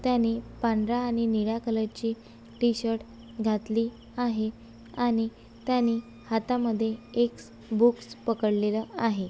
त्यांनी पांढर्‍या आणि निळ्या कलर ची टी शर्ट घातली आहे. आणि त्यांनी हातामध्ये एक बुक्स पकडलेल आहे.